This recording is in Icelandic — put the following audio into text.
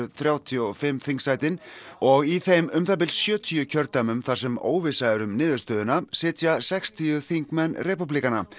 þrjátíu og fimm þingsætin og í þeim um það bil sjötíu kjördæmum þar sem óvissa er um niðurstöðuna sitja sextíu þingmenn repúblikana